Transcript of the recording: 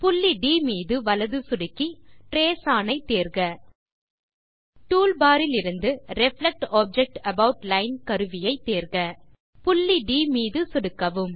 புள்ளி ட் மீது வலது சொடுக்கி ட்ரேஸ் ஒன் ஐ தேர்க டூல் பார் இலிருந்து ரிஃப்ளெக்ட் ஆப்ஜெக்ட் அபாட் லைன் கருவியை தேர்க புள்ளி ட் மீது சொடுக்கவும்